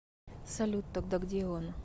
салют тогда где он